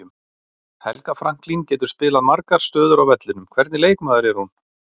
Helga Franklín getur spilað margar stöður á vellinum, hvernig leikmaður er hún?